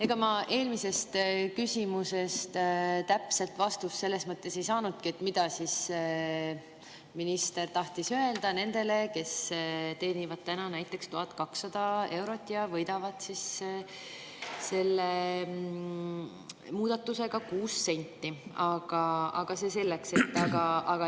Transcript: Ega ma eelmisele küsimusele täpset vastust selles mõttes, mida minister tahtis öelda nendele, kes teenivad täna näiteks 1200 eurot ja võidavad selle muudatusega 6 senti, ei saanud, aga see selleks.